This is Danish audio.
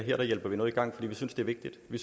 vi